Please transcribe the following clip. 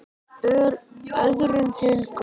Öðrum til góðs.